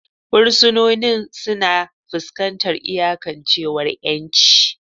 Fursunonin suna fuskantar iyakancewar 'yanci.